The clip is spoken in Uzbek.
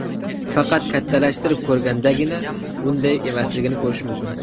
Faqat kattalashtirib ko‘rgandagina bunday emasligini ko‘rish mumkin.